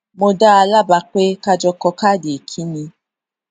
mo dá a lábàá pé ká jọ kọ káàdì ìkíni